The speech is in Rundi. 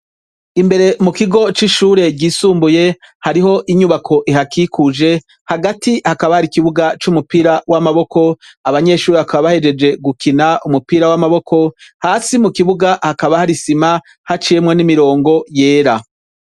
Imbere mukigo c’ishure ry’isumbuye. Hariho inyubako ihakikuje, hagati hakaba hari ikibuga c’umupira w’amaboko, abanyeshure bakaba bahejeje gukina umupira w’amaboko, hasi mukibuga hakaba har’isima haciyemwo n’imirongo yera.